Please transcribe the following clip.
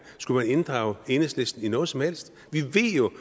skulle man inddrage enhedslisten i noget som helst vi ved jo